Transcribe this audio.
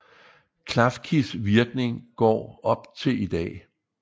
Klafkis virkning går op til i dag